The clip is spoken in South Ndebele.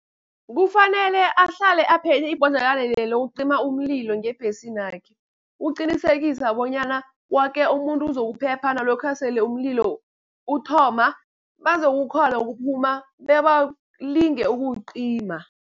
Kufanele ahlale aphethe ibhodlelwana lela lokucima umlilo ngebhesini yakhe. Ukuqinisekisa bonyana woke umuntu uzokuphepha nalokha sele umlilo uthoma bazokukghona ukuphuma bebalinge ukuwucima.